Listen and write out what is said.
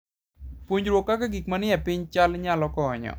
Puonjruok kaka gik manie piny chal nyalo konyo.